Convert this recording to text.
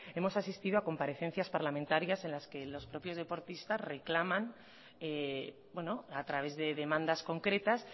hemos asistido a comparecencias parlamentarias en las que los propios deportistas reclaman a través de demandas concretas